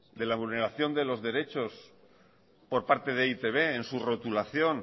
de la vulneración de los derechos por parte de e i te be en su rotulación